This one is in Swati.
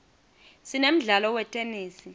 sinemdlalo wetenesi